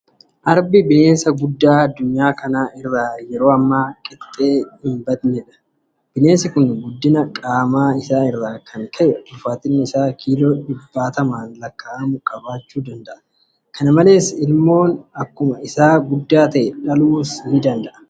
Arbi bineensa guddaa addunyaa kana irraa yeroo ammaa qixxee hinqabnedha. Bineensi kun guddina qaama isaa irraa kan ka'e ulfaatinni isaa kiiloo dhibbootaan lakkaa'amu qabaachuu danda'eera. Kana malees ilmoo akkuma isaa guddaa ta'an dhaluus danda'eera.